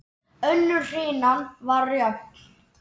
Önnur hrinan var jöfn.